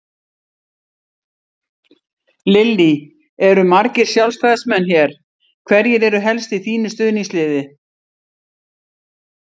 Lillý: Eru margir Sjálfstæðismenn hér, hverjir eru helst í þínu stuðningsliði?